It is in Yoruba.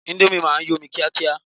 Índómì ma ń yọ́ sómi kíákíá